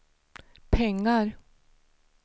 pengar